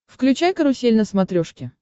включай карусель на смотрешке